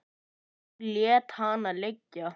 Hún lét hana liggja.